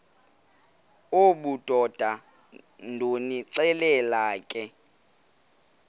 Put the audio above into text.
obudoda ndonixelela ke